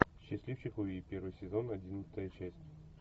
счастливчик луи первый сезон одиннадцатая часть